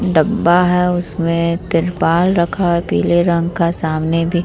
डब्बा है उसमे तिरपाल रखा है पीले रंग का सामने --